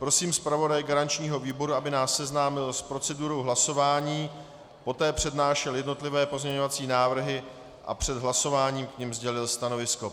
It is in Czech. Prosím zpravodaje garančního výboru, aby nás seznámil s procedurou hlasování, poté přednášel jednotlivé pozměňovací návrhy a před hlasováním k nim sdělil stanovisko.